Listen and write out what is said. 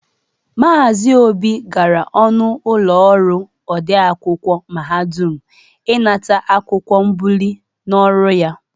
Maazị Obi gara ọnụ ụlọ ọrụ ode akwụkwọ mahadum ịnata akwụkwọ mbụlie n'ọrụ ya.